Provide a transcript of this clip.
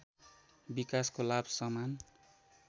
विकासको लाभ समान